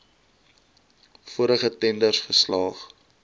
vorige tenders geslaag